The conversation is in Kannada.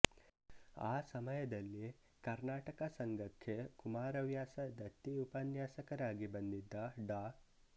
ಆಸಮಯದಲ್ಲಿ ಕರ್ನಾಟಕ ಸಂಘಕ್ಕೆ ಕುಮಾರವ್ಯಾಸ ದತ್ತಿ ಉಪನ್ಯಾಸಕಾರರಾಗಿ ಬಂದಿದ್ದ ಡಾ